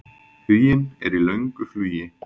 Huginn er í löngu flugi.